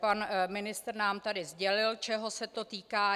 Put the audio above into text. Pan ministr nám zde sdělil, čeho se to týká.